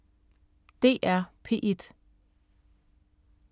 DR P1